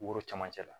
Woro camancɛ la